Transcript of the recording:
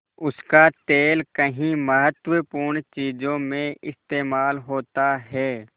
उसका तेल कई महत्वपूर्ण चीज़ों में इस्तेमाल होता है